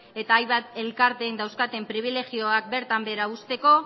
eta hainbat elkarteek dauzkaten pribilegioak bertan behera uzteko